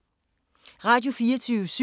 Radio24syv